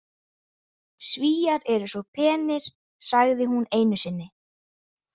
Svíar eru svo penir, sagði hún einu sinni.